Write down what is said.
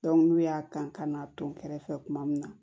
n'u y'a kan'a to kɛrɛfɛ tuma min na